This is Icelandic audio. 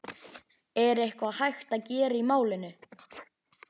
Er eitthvað hægt að gera í málinu?